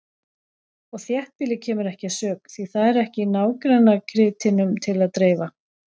Og þéttbýlið kemur ekki að sök, því það er ekki nágrannakrytinum til að dreifa.